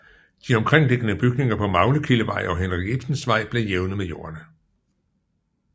De omkringliggende bygninger på Maglekildevej og Henrik Ibsensvej blev jævnet med jorden